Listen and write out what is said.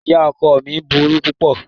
Ìyá ọkọ ọ mí burú púpọ̀.